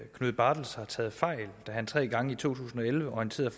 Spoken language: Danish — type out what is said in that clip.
knud bartels har taget fejl da han tre gange i to tusind og elleve orienterede